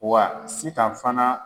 Wa SITAN fana.